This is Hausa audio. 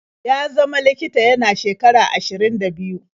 Ya zama likita yana shekara ashirin da biyu.